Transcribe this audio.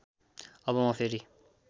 अब म फेरि